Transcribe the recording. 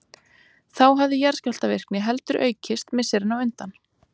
Þá hafði jarðskjálftavirkni heldur aukist misserin á undan.